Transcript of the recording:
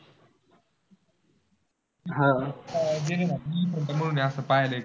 गेले ना समोरून असं पाहायला येतं.